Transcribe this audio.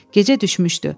Gecə düşmüşdü.